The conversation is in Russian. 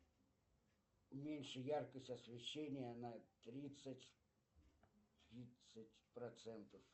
уменьши яркость освещения на тридцать процентов